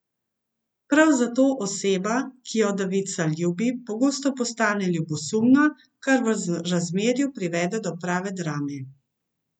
Prav zato oseba, ki jo devica ljubi, pogosto postane ljubosumna, kar v razmerju privede do prave drame.